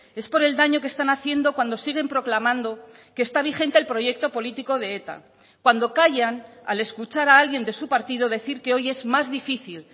es por el daño que están haciendo cuando siguen proclamando que está vigente el proyecto político de eta cuando callan al escuchar a alguien de su partido decir que hoy es más difícil